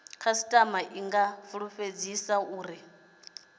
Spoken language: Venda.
khasitama i nga fulufhedziswa uri